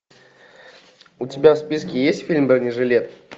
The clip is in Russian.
у тебя в списке есть фильм бронежилет